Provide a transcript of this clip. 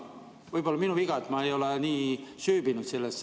Võib olla on minu viga, et ma ei ole nii sellesse süüvinud.